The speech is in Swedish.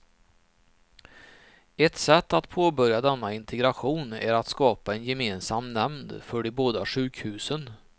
Ett sätt att påbörja denna integration är att skapa en gemensam nämnd för de båda sjukhusen.